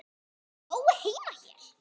Átti Jói þá heima hér?